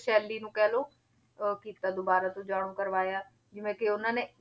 ਸ਼ੈਲੀ ਨੂੰ ਕਹਿ ਲਓ ਅਹ ਕੀਤਾ ਦੁਬਾਰਾ ਤੋਂ ਜਾਣੂ ਕਰਵਾਇਆ ਜਿਵੇਂ ਕਿ ਉਹਨਾਂ ਨੇ